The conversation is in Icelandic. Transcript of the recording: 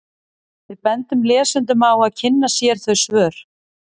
Við bendum lesendum á að kynna sér þau svör.